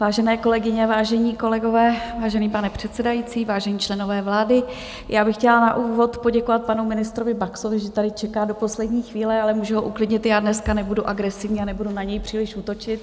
Vážené kolegyně, vážení kolegové, vážený pane předsedající, vážení členové vlády, já bych chtěla na úvod poděkovat panu ministrovi Baxovi, že tady čeká do poslední chvíle, ale můžu ho uklidnit, já dneska nebudu agresivní a nebudu na něj příliš útočit.